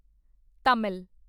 Tamil